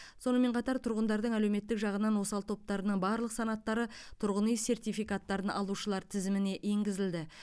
сонымен қатар тұрғындардың әлеуметтік жағынан осал топтарының барлық санаттары тұрғын үй сертификаттарын алушылар тізіміне енгізілді